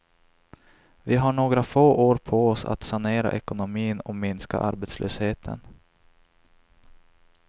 Vi har några få år på oss att sanera ekonomin och minska arbetslösheten.